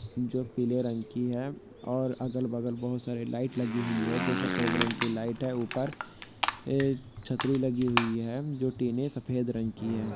जो पीले रंग की है और अगल बगल बहुत सारे लाईट लगी हुई है जो सफ़ेद रंग की लाईट है ऊपर एक छत्री लगी हुई है जो टिने सफ़ेद रंग की है।